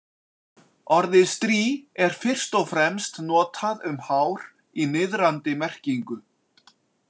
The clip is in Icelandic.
Orðið strý er fyrst og fremst notað um hár í niðrandi merkingu.